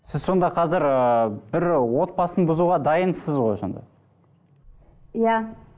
сіз сонда қазір ыыы бір отбасын бұзуға дайынсыз ғой сонда иә